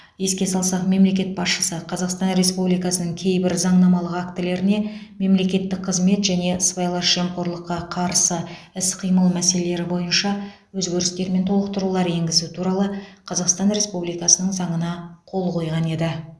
еске салсақ мемлекет басшысы қазақстан республикасының кейбір заңнамалық актілеріне мемлекеттік қызмет және сыбайлас жемқорлыққа қарсы іс қимыл мәселелері бойынша өзгерістер мен толықтырулар енгізу туралы қазақстан республикасының заңына қол қойған еді